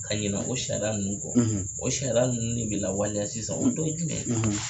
Ka ɲinɛ o sariya ninnu kɔ o sariya ninnu ne bɛ la waleya sisan o dɔ ye jumɛn ye.